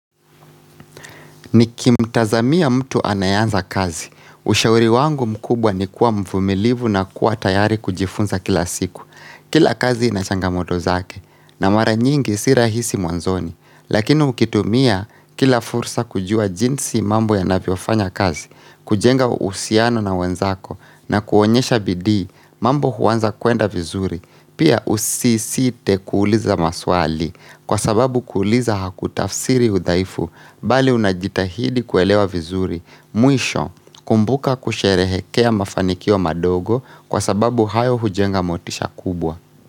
Nikimtazamia mtu anayeanza kazi, ushauri wangu mkubwa ni kuwa mvumilivu na kuwa tayari kujifunza kila siku Kila kazi inachanga moto zake, na mara nyingi si rahisi mwanzoni Lakini mkitumia kila fursa kujua jinsi mambo ya naviofanya kazi, kujenga usiano na wenzako na kuonyesha bidii, mambo huwanza kuenda vizuri, pia usisite kuuliza maswali Kwa sababu kuliza hakutafsiri udhaifu bali unajitahidi kuelewa vizuri mwisho kumbuka kusherehekea mafanikio madogo kwa sababu hayo hujenga motisha kubwa.